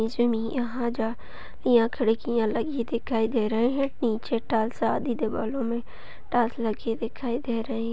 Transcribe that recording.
यहाँ खिड़कियां लगी दिखाई दे रही हैं। नीचे टाइल्स आधी दीवालों में टाइल्स लगी दिखाई दे रही --